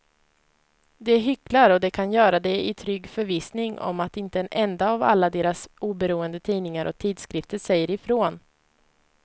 De hycklar och de kan göra det i trygg förvissning om att inte en enda av alla deras oberoende tidningar och tidskrifter säger ifrån.